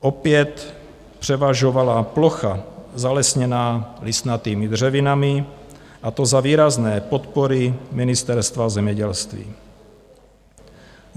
Opět převažovala plocha zalesněná listnatými dřevinami, a to za výrazné podpory Ministerstva zemědělství.